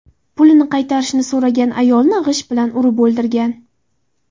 pulini qaytarishni so‘ragan ayolni g‘isht bilan urib o‘ldirgan.